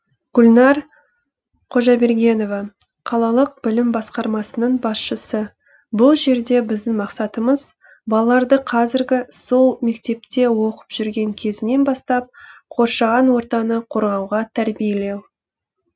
гүлнәр қожабергенова қалалық білім басқармасының басшысы бұл жерде біздің мақсатымыз балаларды қазіргі сол мектепте оқып жүрген кезінен бастап қоршаған ортаны қорғауға тәрбиелеу